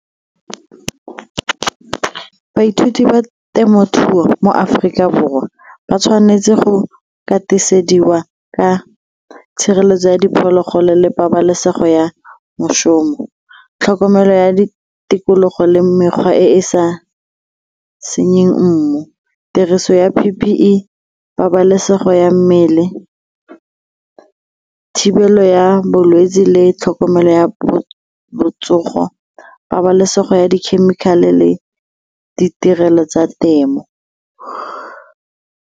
Baithuti ba temothuo mo Aforika Borwa ba tshwanetse go katisediwa ka tshireletso ya diphologolo le pabalesego ya mošomo, tlhokomelo ya tikologo le mekgwa e e sa senyeng mmu, tiriso ya P_P_E pabalesego ya mmele thibelo go ya bolwetse le tlhokomelo ya botsogo pabalesego ya di-chemical-e le ditirelo tsa temo.